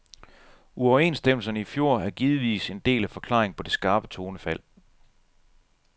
Uoverenstemmelserne i fjor er givetvis en del af forklaringen på det skarpe tonefald.